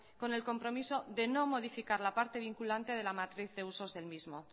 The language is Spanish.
con el compromiso de no modificar la parte vinculante de la matriz de usos del mismo